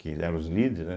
Que eles eram os líderes, né.